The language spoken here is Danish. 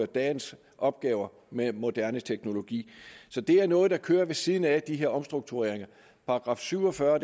dagens opgaver med moderne teknologi så det er noget der kører ved siden af de her omstruktureringer § syv og fyrre